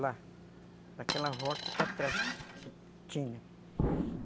Lá, naquela rota para trás que tinha.